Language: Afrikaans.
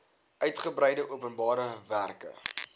uigebreide openbare werke